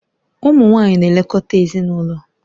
Ụmụ nwanyị na-elekọta ezinụlọ